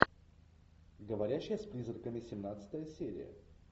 говорящая с призраками семнадцатая серия